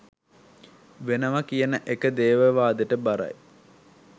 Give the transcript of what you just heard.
වෙනව කියන එක දේවවාදෙට බරයි